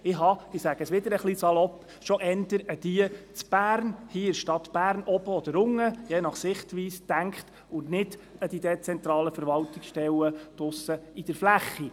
Ich habe, etwas salopp ausgedrückt, schon eher an die hier in Bern gedacht, an die Oberen oder die Unteren, je nach Sichtweise, und nicht an die dezentralen Verwaltungsstellen in der Fläche.